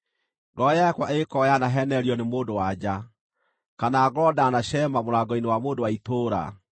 “Ngoro yakwa ĩngĩkorwo yanaheenererio nĩ mũndũ-wa-nja, kana ngorwo ndanaceema mũrango-inĩ wa mũndũ wa itũũra,